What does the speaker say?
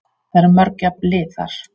Það eru mörg jöfn lið þar.